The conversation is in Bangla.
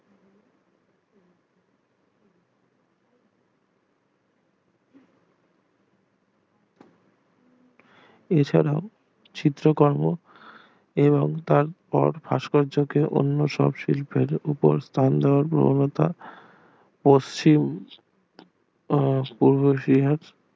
এছাড়া চিত্রকর্ম এবং তারপর ভাস্কর্যকে অন্য সব শিল্পের ওপর পশ্চিম ও পূর্ব এশিয়ার